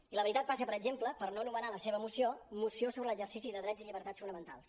i la veritat passa per exemple per no anomenar la seva moció moció sobre l’exercici de drets i llibertats fonamentals